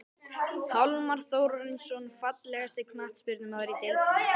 Hjálmar Þórarinsson Fallegasti knattspyrnumaðurinn í deildinni?